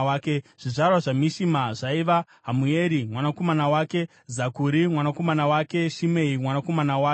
Zvizvarwa zvaMishima zvaiva: Hamueri mwanakomana wake, Zakuri mwanakomana wake naShimei mwanakomana wake.